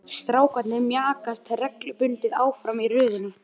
Strákarnir mjakast reglubundið áfram í röðinni.